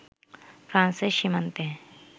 ফ্রান্সের সীমান্তে